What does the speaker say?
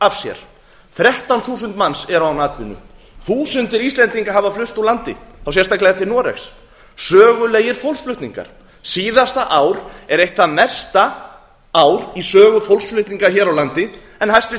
af sér þrettán þúsund manns eru án atvinnu þúsundir íslendinga hafa flust úr landi sérstaklega til noregs sögulegir fólksflutningar síðasta ár er eitt það mesta ár í sögu fólksflutninga hér á landi en hæstvirt